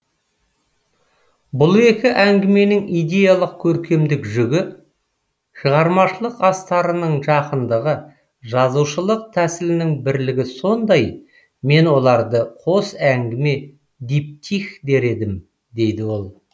бұл екі әңгіменің идеялық көркемдік жүгі шығармашылық астарының жақындығы жазушылық тәсілінің бірлігі сондай мен оларды қос әңгіме диптих дер едім дейді ол